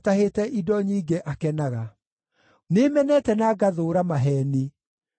Nĩmenete na ngathũũra maheeni, no nĩnyendete watho waku.